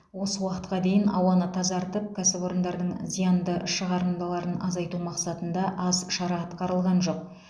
осы уақытқа дейін ауаны тазартып кәсіпорындардың зиянды шығарындыларын азайту мақсатында аз шара атқарылған жоқ